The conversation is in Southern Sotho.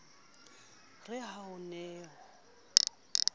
re ha ho ne ho